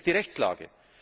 Das ist die Rechtslage.